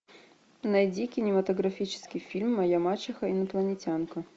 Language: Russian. найди кинематографический фильм моя мачеха инопланетянка